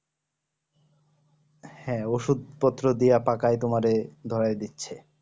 হ্যাঁ ওষুধ পত্র দিয়ে পাকায় তোমারে ধরায় দিচ্ছে